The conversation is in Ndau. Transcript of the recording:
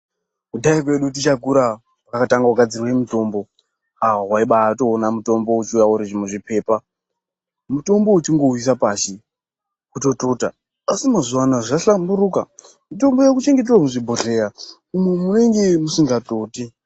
Kudhaya kwedu tichakura kwakatanga kugadzirwe mitombo ah waiba watoona mutombo weiuya uri muzvipepa. Mutombo wechingouisa pasi watotota asi mazuwaanaya zvahlamburuka mitombo yaakuchengetewa muzvibhedhleya umwo munenge musikatoti.